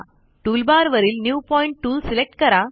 टूलबारवरील new point tool select करा